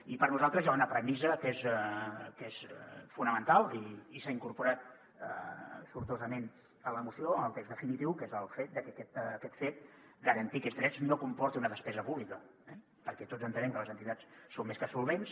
i per nosaltres hi ha una premissa que és fonamental i s’ha incorporat sortosa·ment a la moció al text definitiu que és el fet de que garantir aquests drets no com·porti una despesa pública perquè tots entenem que les entitats són més que solvents